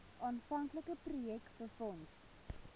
aanvanklike projek befonds